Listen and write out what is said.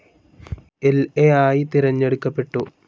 ൽ എ ആയി തിരഞ്ഞെടുക്കപ്പെട്ടു.